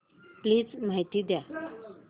please माहिती द्या